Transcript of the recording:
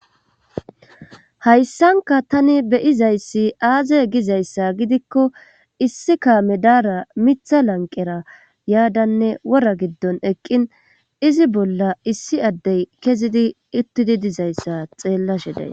hayssanka tani beyizayssi aaze gizayssa gidikko issi kaame daara mitha lanqera yaadanne wora giddon eqqin izi bolla issi addey kezidi uttidi dizayssa xeellashe dayssi